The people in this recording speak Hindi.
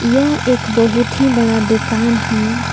यह एक बहुत ही बड़ा दुकान है।